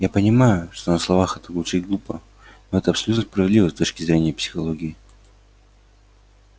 я понимаю что на словах это звучит глупо но это абсолютно справедливо с точки зрения психологии